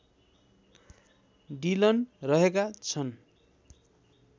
Dylan रहेका छन्